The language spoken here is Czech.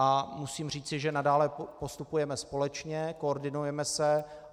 A musím říci, že nadále postupujeme společně, koordinujeme se.